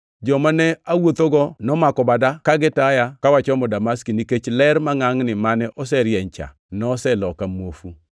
Joma ne awuothogo nomako bada kagitaya ka wachomo Damaski, nikech ler mangʼangʼni mane oserieny cha noseloka muofu.